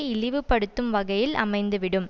இழிவுபடுத்தும் வகையில் அமைந்துவிடும்